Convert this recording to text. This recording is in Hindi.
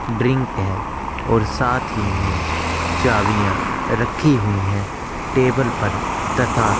ड्रिंक है और साथ ही में चाबियां रखी गई है टेबल परतथा